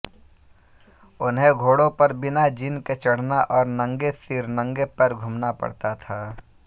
उन्हें घोड़े पर बिना जीन के चढ़ना और नंगे सिर नंगे पैर घूमना पड़ता था